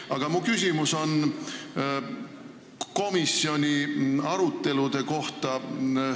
Aga mu küsimus on komisjoni arutelude kohta.